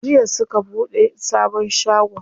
Jiya suka buɗe sabon shagon.